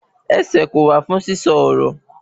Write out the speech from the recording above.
Ẹsẹ̀ kò wà fún sísọ ọ̀rọ̀